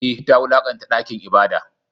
Eh, ta wulakanta dakin ibada.